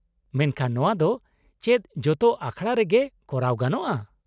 ᱢᱮᱱᱠᱷᱟᱱ ᱱᱚᱶᱟ ᱫᱚ ᱪᱮᱫ ᱡᱚᱛᱚ ᱟᱠᱷᱲᱟ ᱨᱮᱜᱮ ᱠᱚᱨᱟᱣ ᱜᱟᱱᱚᱜ -ᱟ ?